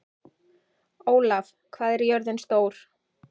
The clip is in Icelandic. Ólaf, hvað er jörðin stór?